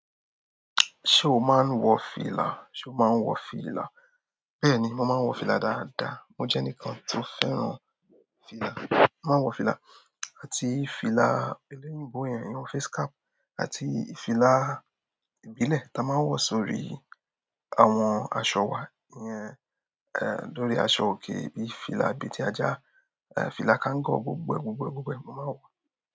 Ṣe o máa ń wọ fìlà? Ṣe o máa ń wọ fìlà? Bẹ́ẹ̀ni, mo máa ń wọ fìlà dáadáa. Mo jẹ́ ẹnìkan tó fẹ́ràn fìlà. Mo máa ń wọ fìlà, àti fìlà ẹlẹ́yìnbó yẹn, ìyun facecap, àti fìlà ìbílẹ̀ ta máa ń wọ sórí àwọn aṣọ wa, ìyẹn dórí aṣọ òkè, bíi fìlà abetí ajá, fìlà kangọ, gbogbo ẹ̀, gbogbo ẹ̀, gbogbo ẹ̀ mo máa ń wọ́.